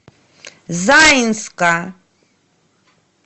заинска